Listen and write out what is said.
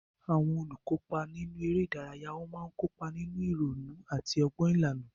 Àwọn olùkópa nínú eré ìdárayá máa ń kópa nínú ìrònú àti ọgbọ́n ìlànà.